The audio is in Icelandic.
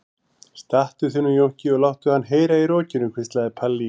Stattu þig nú Jónki og láttu hann heyra í rokinu, hvíslaði Palli í